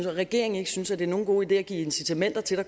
regeringen ikke synes at det er nogen god idé at give incitamenter til at